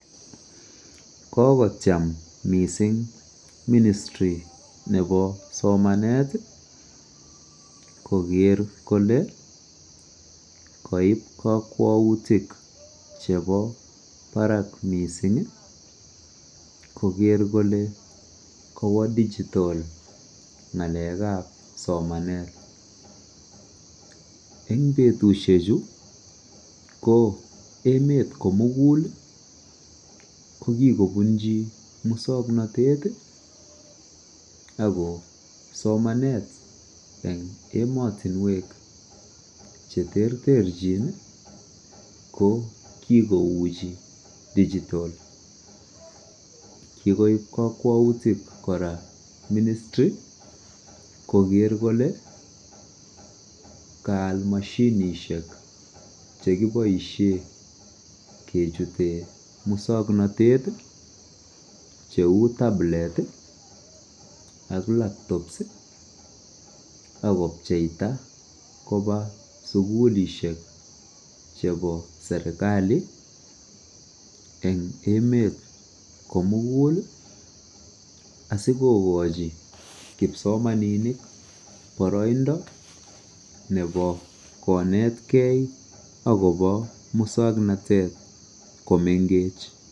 Kokotiem mising ministiri nebo somanet koker kolee koib kokwoutik chebo barak mising koker kolee kowo digital ngalekab somanet, eng betushechu ko emet komukul ko kikobunchi muswoknotet ak ko somanet en emotinwek cheterterchin ko kikouchi digital, kikoib kokwoutik kora ministri koker kolee kaal moshinishek chekiboishen kechuten muswoknotet cheuu tabilet ak laptops ak kobcheita kobaa sukulishek chebo serikali eng emet komukul asikokochi kipsomaninik boroindo nebo konetkei akobo muswoknotet komengech.